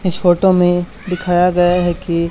इस फोटो में दिखाया गया है कि--